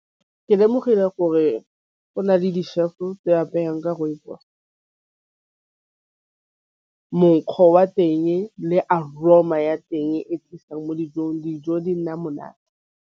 Ke lemogile gore go na le di-chef tse apayang ke rooibos monkgo wa teng le aroma ya teng e thusang mo dijong dijo di nna monate.